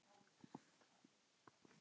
Guðný: Óttastu það?